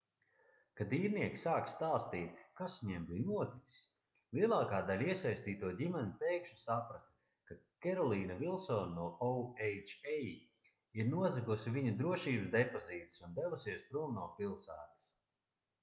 kad īrnieki sāka stāstīt kas viņiem bija noticis lielākā daļa iesaistīto ģimeņu pēkšņi saprata ka kerolīna vilsone no oha ir nozagusi viņu drošības depozītus un devusies prom no pilsētas